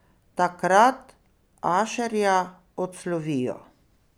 Takrat Ašerja odslovijo.